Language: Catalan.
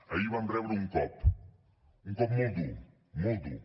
ahir vam rebre un cop un cop molt dur molt dur